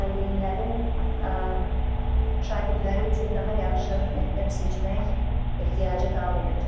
Valideynlərin şagirdləri üçün daha yaxşı məktəb seçmək ehtiyacı qalmayacaq.